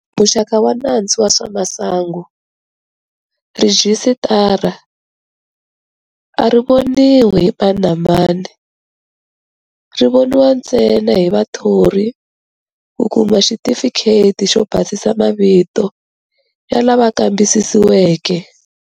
Muxaka wa nandzu wa swa masangu. Rhijisitara a ri voniwi hi mani na mani. Ri voniwa ntsena hi vathori ku kuma xitifikheti xo basisa mavito ya lava kambisisiweke.